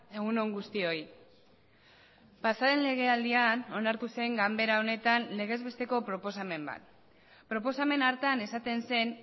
egun on guztioi pasa den legealdian onartu zen ganbera honetan legezbesteko proposamen bat proposamen hartan esaten zen